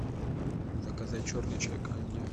заказать черный чай канди